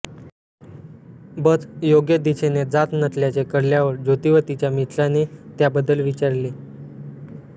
बस योग्य दिशेने जात नसल्याचे कळल्यावर ज्योती व तिचा मित्राने त्याबद्दल विचाराले